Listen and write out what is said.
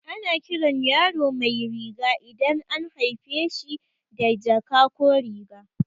Ana kiran yaro Mairiga idan an haife shi da jaka ko riga